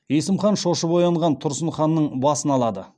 есім хан шошып оянған тұрсын ханның басын алады